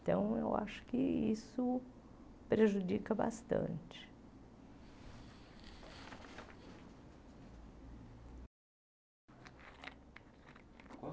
Então, eu acho que isso prejudica bastante.